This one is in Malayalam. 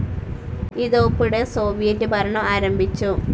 ഇതോപ്പ്ടെ സോവിയറ്റ്‌ ഭരണം ആരംഭിച്ചു.